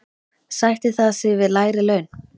Sættir það sig við lægri laun?